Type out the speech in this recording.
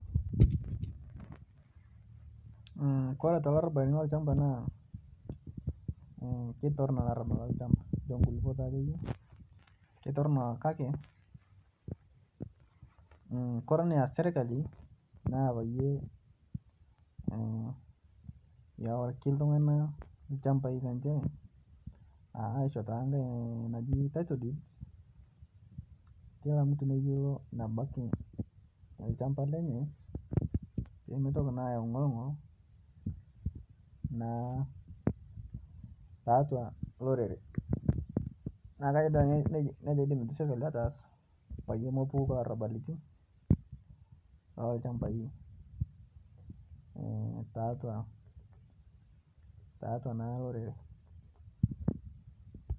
Kitorrono olarabal lolchamba ashu oloo nkulupuok akeyie kake ore enias sirkali naa peyie eworiki iltung'ana ilchambai lenye aishoo ntokitin najii title deeds kila mtu neyiolou enebaiki olchamba lenye pee mitoki naa ayawu engorngol naa atua olorere neeku nejia eidim sirkali ataas pee mepuku naa elarabali loo ilchambaitiatua olorere.